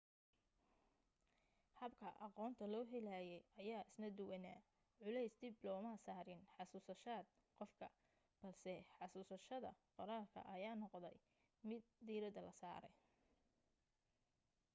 habka aqoonta loo helayay ayaa isna duwanaa culays dib looma saarin xasuusashad qofka balse xasuusashada qoraalka ayaa noqotay mid diiradda la saaray